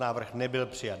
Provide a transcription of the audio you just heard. Návrh nebyl přijat.